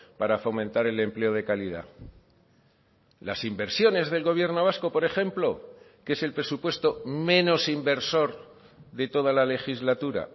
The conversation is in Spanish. para fomentar el empleo de calidad las inversiones del gobierno vasco por ejemplo que es el presupuesto menos inversor de toda la legislatura